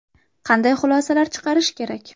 Qanday xulosalar chiqarish kerak?